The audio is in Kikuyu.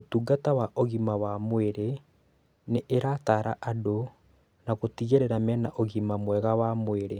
ũtungata wa ugima wa mwiri ni irataara andũ na gutigirira mena ũgima mwega wa mwĩrĩ